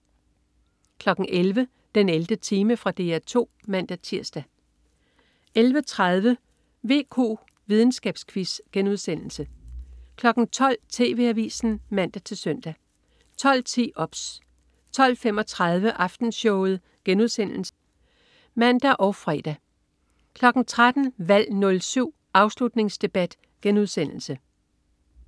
11.00 den 11. time. Fra DR 2 (man-tirs) 11.30 VQ, videnskabsquiz* 12.00 TV Avisen (man-søn) 12.10 OBS 12.35 Aftenshowet* (man og fre) 13.00 Valg 07. Afslutningsdebat*